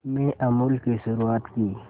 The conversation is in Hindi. में अमूल की शुरुआत की